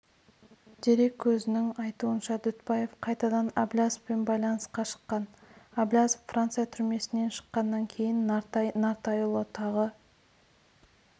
дерек көзінің айтуынша дүтбаев қайтадан әблязовпен байланысқа шыққан әблязов франция түрмесінен шыққаннан кейін нартай нұртайұлы тағы